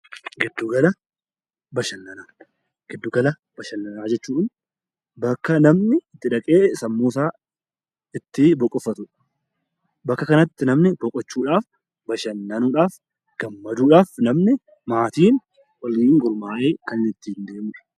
Giddu gala bashannanaa jechuun bakka namni itti dhaqee sammuusaa itti boqoffatudha. Bakka kanatti namni boqochuudhaaf, bashannanuudhaaf, gammaduudhaaf namni maatiin waliin gurmaa'anii kan ittiin deemudha.